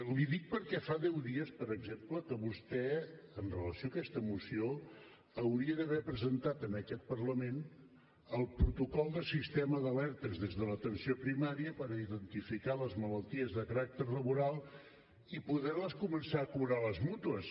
li ho dic perquè fa deu dies per exemple que vostè amb relació a aquesta moció hauria d’haver presentat en aquest parlament el protocol de sistema d’alertes des de l’atenció primària per a identificar les malalties de caràcter laboral i poder les començar a cobrar a les mútues